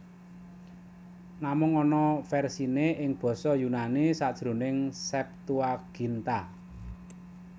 Namung ana versiné ing basa Yunani sajroning Septuaginta